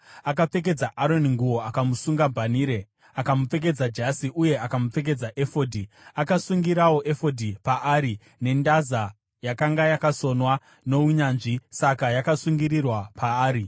Akapfekedza Aroni nguo akamusunga bhanhire, akamupfekedza jasi, uye akamupfekedza efodhi. Akasungirirawo efodhi paari nendaza yakanga yakasonwa nounyanzvi; saka yakasungirirwa paari.